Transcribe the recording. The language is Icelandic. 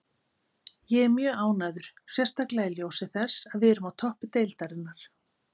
Ég er mjög ánægður, sérstaklega í ljósi þess að við erum á toppi deildarinnar.